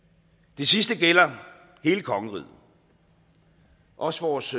det sidste gælder hele kongeriget også vores